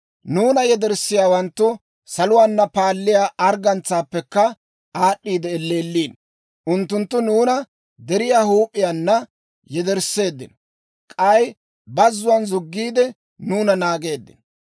Nuuna yederssiyaawanttu saluwaana paalliyaa arggantsaappekka aad'd'iide elleelliino. Unttunttu nuuna deriyaa huup'iyaana yedersseeddino; k'ay bazzuwaan zuggiide, nuuna naageeddino.